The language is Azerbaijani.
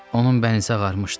Onun bənizi ağarmışdı.